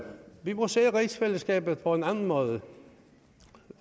vi må se på rigsfællesskabet på en anden måde